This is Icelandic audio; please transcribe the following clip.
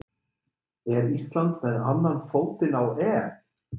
Er Ísland með annan fótinn á EM?